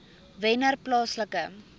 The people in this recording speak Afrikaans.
wennerplaaslike